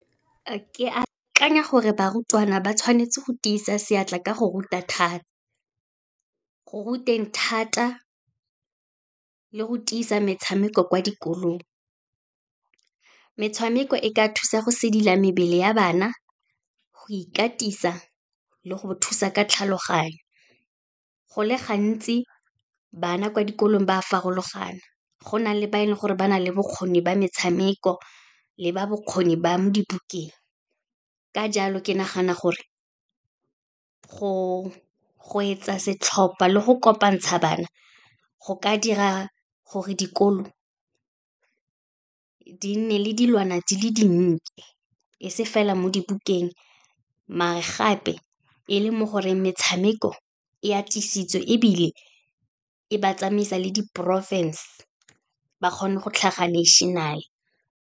Ke akanya gore barutwana, ba tshwanetse go tiisa seatla ka go ruteng thata, le go tiisa metshameko kwa dikolong. Metshameko e ka thusa go sedila mebele ya bana, go ikatisa le go thusa ka tlhaloganyo. Go le gantsi, bana kwa dikolong ba farologana, go na le ba e leng gore ba na le bokgoni ba metshameko, le ba bokgoni ba mo dibukeng. Ka jalo, ke nagana gore go etsa setlhopha le go kopantsha bana, go ka dira gore dikolo di nne le dilwana di le dintle e se fela mo dibukeng, maar-e gape e le mo goreng metshameko e atisitswe, ebile e ba tsamaisa le diporofense, ba kgone go tlhaga national-e.